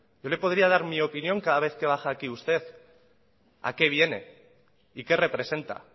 yo le podría dar mi opinión cada vez que baja usted aquí a qué viene y qué representa